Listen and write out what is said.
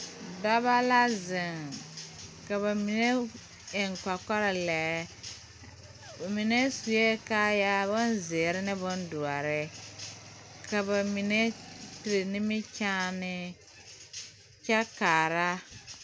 Dɔba la zeŋ ka ba mine eŋ kɔkɔlɛɛ, ba mine sue kaayaa bonzeɛre ane bondoɔre, ka ba mine peri nimikyaane kyɛ kaara.